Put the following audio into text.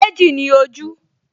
Méjì ni ojú